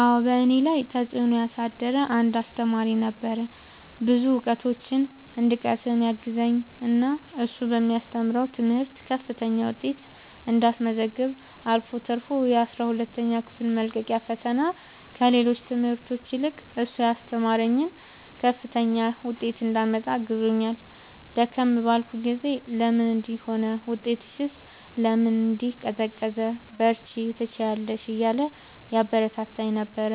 አዎ በእኔ ላይ ተፅእኖ ያሳደረ አንድ አሰተማሪ ነበረ። ብዙ እውቀቶችን እንድቀስም ያገዘኝ እና እሱ በሚያስተምረው ትምህርት ከፍተኛ ውጤት እንዳስመዘግብ አልፎ ተርፎ የአስራ ሁለተኛ ክፍል መልቀቂያ ፈተና ከሌሎች ትምህርቶች ይልቅ እሱ ያስተማረኝን ከፍተኛ ውጤት እንዳመጣ አግዞኛል። ደከም ባልኩ ጊዜ ለምን እንዲህ ሆነ ውጤትሽስ ለምን እንዲህ ቀዘቀዘ በርቺ ትችያለሽ እያለ ያበረታታኝ ነበረ።